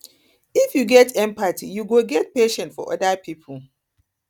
if you get empathy you go get patience for oda pipo